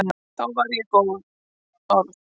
Þá var ég orð